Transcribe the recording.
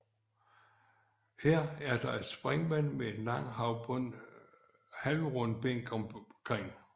Her er der et springvand med en lang halvrund bænk omkring